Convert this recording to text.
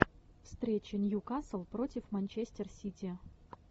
встреча ньюкасл против манчестер сити